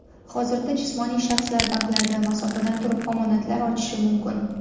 Hozirda jismoniy shaxslar banklarda masofadan turib omonatlar ochishi mumkin.